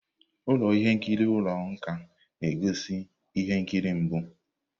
Ụlọ ihe nkiri ụlọ nkà na-egosi ihe nkiri mbụ.